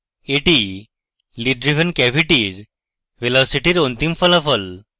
এটি lid driven cavity এর velocity এর অন্তিম ফলাফল